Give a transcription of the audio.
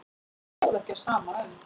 Og stóð ekki á sama um.